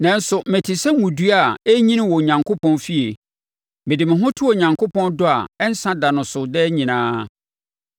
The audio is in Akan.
Nanso, mete sɛ ngo dua a ɛrenyini wɔ Onyankopɔn fie: mede me ho to Onyankopɔn dɔ a ɛnsa da no so daa nyinaa.